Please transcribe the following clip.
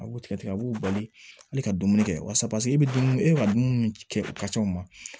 A b'u tigɛ tigɛ a b'u bali hali ka dumuni kɛ walasa pase e bɛ dumuni e ka dumuni kɛ o ma